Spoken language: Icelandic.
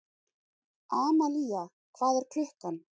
Amalía, hvað er klukkan?